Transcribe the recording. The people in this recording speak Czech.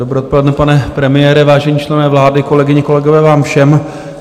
Dobré odpoledne, pane premiére, vážení členové vlády, kolegyně, kolegové vám všem.